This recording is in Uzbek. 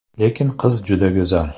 Lekin qiz juda go‘zal.